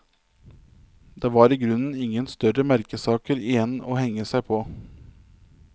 Det var i grunnen ingen større merkesaker igjen å henge seg på.